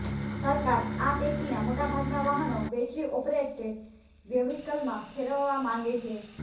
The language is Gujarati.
સરકાર આ પૈકીના મોટાભાગના વાહનો બેટરી ઓપરેટે વ્હિકલમાં ફેરવવા માંગે છે